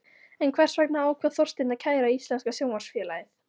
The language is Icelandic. En hvers vegna ákvað Þorsteinn að kæra Íslenska Sjónvarpsfélagið?